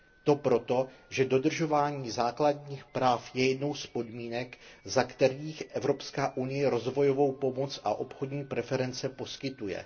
To proto, že dodržování základních práv je jednou z podmínek, za kterých Evropská unie rozvojovou pomoc a obchodní preference poskytuje.